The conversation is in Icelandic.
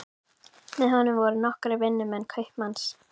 Með honum voru nokkrir vinnumenn kaupmanns.